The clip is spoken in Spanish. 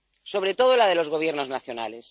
Sobre todo la de los Gobiernos nacionales.